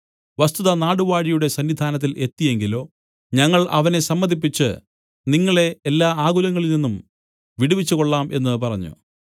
വസ്തുത നാടുവാഴിയുടെ സന്നിധാനത്തിൽ എത്തി എങ്കിലോ ഞങ്ങൾ അവനെ സമ്മതിപ്പിച്ച് നിങ്ങളെ എല്ലാ ആകുലങ്ങളിൽ നിന്നും വിടുവിച്ചു കൊള്ളാം എന്നു പറഞ്ഞു